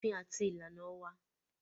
Òfin àti ìlànà wà.